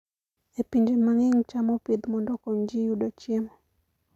E pinje mang'eny, cham opidh mondo okony ji yudo chiemo.